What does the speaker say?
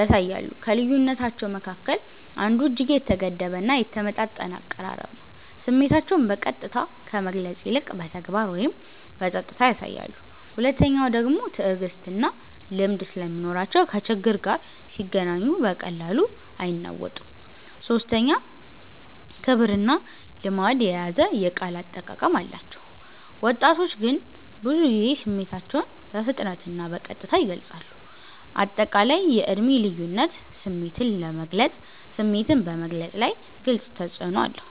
ያሳያሉ። ከልዩነታቸዉ መካከል አንዱ እጅግ የተገደበ እና የተመጣጠነ አቀራረብ ነው፤ ስሜታቸውን በቀጥታ ከመግለጽ ይልቅ በተግባር ወይም በጸጥታ ያሳያሉ። ሁለተኛዉ ደግሞ ትዕግስትና ልምድ ስለሚኖራቸው ከችግር ጋር ሲገናኙ በቀላሉ አይናወጡም። ሶስተኛ ክብርና ልማድ የያዘ የቃል አጠቃቀም አላቸው፤ ወጣቶች ግን ብዙ ጊዜ ስሜታቸውን በፍጥነትና በቀጥታ ይገልጻሉ። አጠቃላይ የዕድሜ ልዩነት ስሜትን በመግለፅ ላይ ግልጽ ተፅዕኖ አለው።